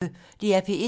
DR P1